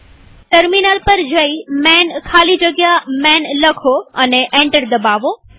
terminal પર જઈ માન ખાલી જગ્યા માન લખો અને એન્ટર દબાવો